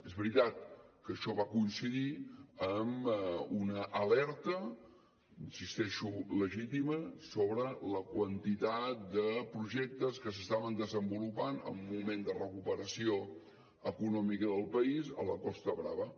és veritat que això va coincidir amb una alerta hi insisteixo legítima sobre la quantitat de projectes que s’estaven desenvolupant en un moment de recuperació econòmica del país a la costa brava